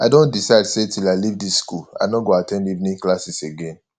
i don decide say till i leave dis school i no go at ten d evening classes again